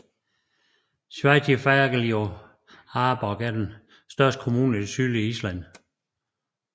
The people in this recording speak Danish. Sveitarfélagið Árborg er den største kommune i det sydlige Island